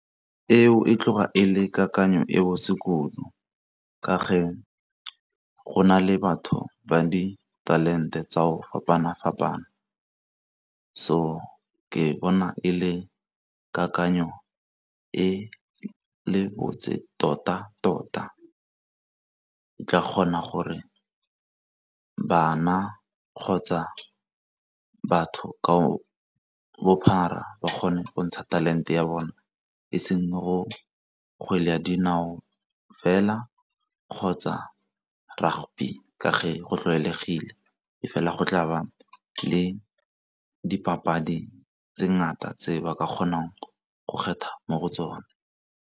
Eo e tloga e le kakanyo e botse kudu ka ge go na le batho ba di talente tsa go fapana-fapana, so ke bona e le kakanyo e botse tota tota, ke tla kgona gore bana kgotsa batho ka bophara ba kgone go ntsha talente ya bone e seng go kgwele ya dinao fela kgotsa rugby ka ge go tlwaelegile e fela go tlaba le dipapadi tse ngata tse ba ka kgonang go kgetha mo go tsone.